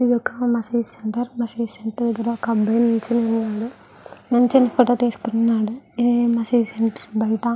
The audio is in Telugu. ఇదొక మసీద్ సెంటర్ . మసీద్ సెంటర్ దగ్గర ఒక అబ్బాయి నించుని ఉన్నాడు. నించుని ఫోటో తీసుకున్నాడుఈ మసీద్ సెంటర్ బయట.